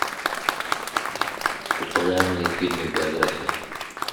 популярные фильмы биография